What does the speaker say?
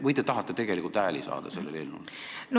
Või te tahate tegelikult sellele eelnõule hääli saada?